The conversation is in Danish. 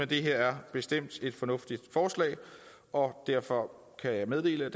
det her er bestemt et fornuftigt forslag og derfor kan jeg meddele